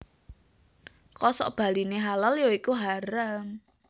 Kosokbaliné halal ya iku haram